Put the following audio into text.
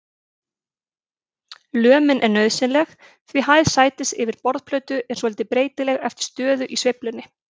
Lömin er nauðsynleg því hæð sætis yfir borðplötu er svolítið breytileg eftir stöðu í sveiflunni.